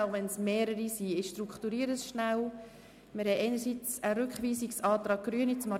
Auch wenn es mehrere Anträge sind, möchte ich sie zusammennehmen.